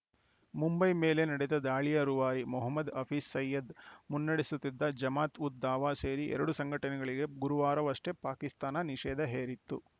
ಮುಂಬೈ ಮೇಲೆ ನಡೆದ ದಾಳಿಯ ರೂವಾರಿ ಮೊಹಮ್ಮದ್‌ ಹಫೀಜ್‌ ಸಯೀದ್‌ ಮುನ್ನಡೆಸುತ್ತಿದ್ದ ಜಮಾತ್‌ ಉದ್‌ ದಾವಾ ಸೇರಿ ಎರಡು ಸಂಘಟನೆಗಳಿಗೆ ಗುರುವಾರವಷ್ಟೇ ಪಾಕಿಸ್ತಾನ ನಿಷೇಧ ಹೇರಿತ್ತು